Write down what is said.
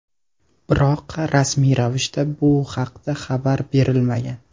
Biroq rasmiy ravishda bu haqda xabar berilmagan.